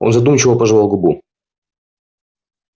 он задумчиво пожевал губу